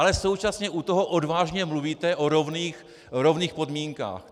Ale současně u toho odvážně mluvíte o rovných podmínkách!